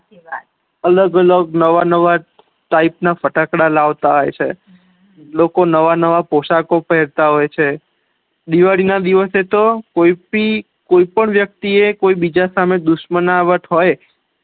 અલગ અલગ નવા નવ ટાઇપ ના ફેટાકડા લાવતા હોય છે લોકો નવા પોશાકો પેહેર તા હોય છે દિવાળી ના દિવસે તો કોપી કોઈ પણ વ્યક્તિ એ કોઈ બીજા સામે દુશ્મનાવટ હોય